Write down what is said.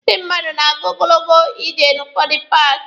Ndị mmadụ na-aga ogologo ije n'ụfọdụ paaki.